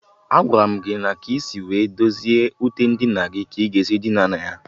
Agwara m gị na akpa ya akpa, alarụ na ute